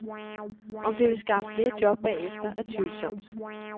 Om det vil skaffe flere job bagefter, er tvivlsomt.